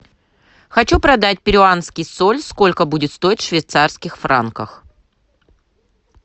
хочу продать перуанский соль сколько будет стоить в швейцарских франках